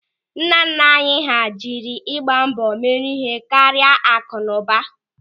Nnanna anyị hà jiri ịgba mbọ mere ihe karịa akụnụba.